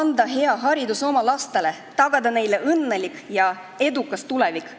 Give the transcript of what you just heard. Anda hea haridus oma lastele, tagada neile õnnelik ja edukas tulevik.